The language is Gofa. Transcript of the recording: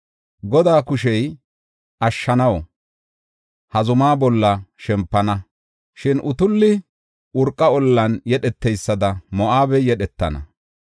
Godaa kushey ashshanaw ha zumaa bolla shempana. Shin utulli urqara ollan yedheteysada Moo7abey yedhetana.